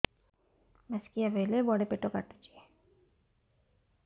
ମାସିକିଆ ବେଳେ ବଡେ ପେଟ କାଟୁଚି